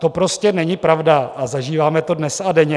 To prostě není pravda a zažíváme to dnes a denně.